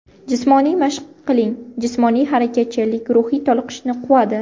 Jismoniy mashq qiling Jismoniy harakatchanlik ruhiy toliqishni quvadi.